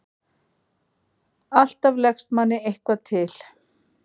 Alltaf leggst manni eitthvað til.